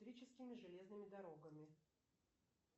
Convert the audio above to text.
электрическими железными дорогами